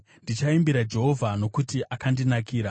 Ndichaimbira Jehovha, nokuti akandinakira.